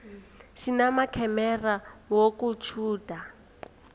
sinamakhamera wokutjhuda